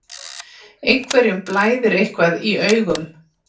Einhverjum blæðir eitthvað í augum